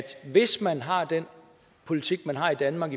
hvis man fortsat har den politik man har i danmark